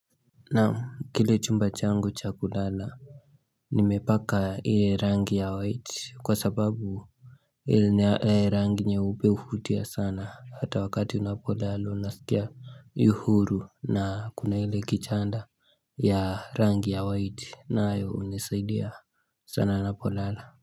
Naam kile chumba changu cha kulala Nimepaka ile rangi ya white kwa sababu rangi nyeupe huvutia sana hata wakati unapolala unasikia yu huru na kuna ile kichanda ya rangi ya white nayo hunisaidia sana napolala.